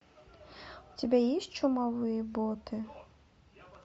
у тебя есть чумовые боты